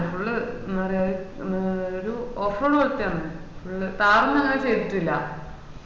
ന്ന് full ന്നാ പറയാ ഒര് off road പോലത്താണ് full താറ് ഒന്നും അങ്ങനെ ചെയ്‌തിട്ടില്ല